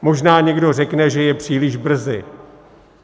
Možná někdo řekne, že je příliš brzy.